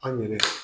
An yɛrɛ